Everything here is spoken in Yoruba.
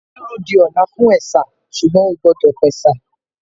Màá dúró di ọ̀la fún ẹ̀sà ṣùgbọ́n ó gbọ́dọ̀ pẹ̀sà